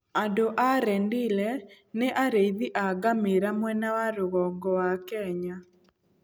Andũ a Rendille nĩ arĩithi a ngamĩĩra mwena wa rũgongo wa Kenya.